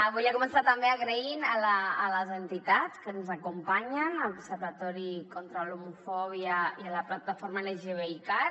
volia començar també donant les gràcies a les entitats que ens acompanyen a l’observatori contra l’homofòbia i a la plataforma lgtbicat